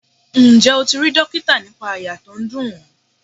Ǹjẹ́ o ti rí dókítà nípa àyà tó ń dùn ọ?